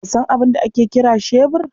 Ka sa abin da ake kiri shebur?